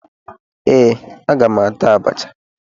Ee, aga m ata abacha